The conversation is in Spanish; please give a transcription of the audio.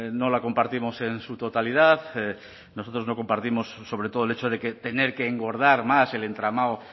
no la compartimos en su totalidad nosotros no compartimos sobre todo el hecho de que tener que engordar más el entramado